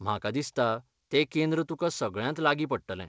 म्हाका दिसता तें केंद्र तुका सगळ्यांत लागीं पडटलें.